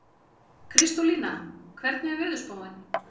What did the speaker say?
Kristólína, hvernig er veðurspáin?